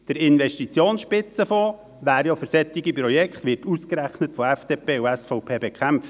Der Investitionsspitzenfonds wäre eigentlich für solche Projekte da, aber er wird ausgerechnet von FDP und SVP bekämpft.